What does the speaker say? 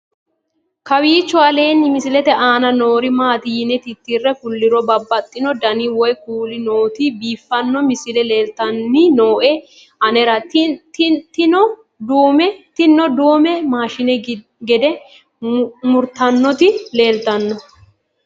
kowiicho aleenni misilete aana noori maati yine titire kulliro babaxino dani woy kuuli nooti biiffanno misile leeltanni nooe anera tino duume maashine gide murtannoti leeeltanno